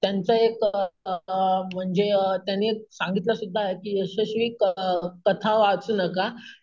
त्यांचं एक अम म्हणजे अम अम त्यांनी सांगितलं सुद्धा आहे यशस्वी क कथा वाचू नका.